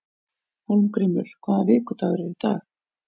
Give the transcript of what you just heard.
Hólmgrímur, hvaða vikudagur er í dag?